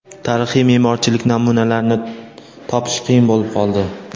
Tarixiy me’morchilik namunalarini topish qiyin bo‘lib qoldi.